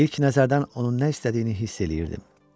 İlk nəzərdən onun nə istədiyini hiss eləyirdim.